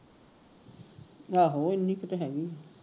ਆਹੋ ਇੰਨੀ ਕੇ ਤੇ ਹੈਗੀ ਆ